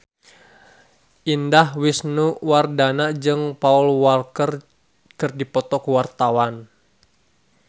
Indah Wisnuwardana jeung Paul Walker keur dipoto ku wartawan